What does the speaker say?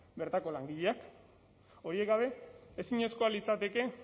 bertako langileak horiek gabe ezinezkoa litzateke